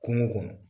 Kungo kɔnɔ